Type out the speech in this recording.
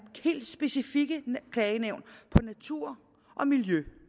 helt specifikke klagenævn på natur og miljø